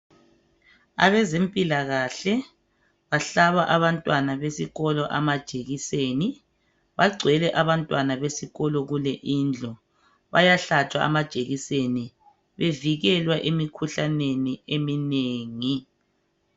Abezempilakahle bahlaba abantwana besikolo amajekiseni bagcwele abantwana besikolo kule indlu bayahlatshwa amajekiseni bevikelwa emikhuhlaneni eminengi